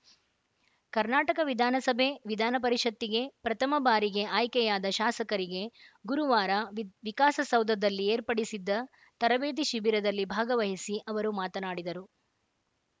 ಕರ್ನಾಟಕ ವಿಧಾನಸಭೆ ವಿಧಾನಪರಿಷತ್ತಿಗೆ ಪ್ರಥಮ ಬಾರಿಗೆ ಆಯ್ಕೆಯಾದ ಶಾಸಕರಿಗೆ ಗುರುವಾರ ವಿಕ್ ವಿಕಾಸಸೌಧದಲ್ಲಿ ಏರ್ಪಡಿಸಿದ್ದ ತರಬೇತಿ ಶಿಬಿರದಲ್ಲಿ ಭಾಗವಹಿಸಿ ಅವರು ಮಾತನಾಡಿದರು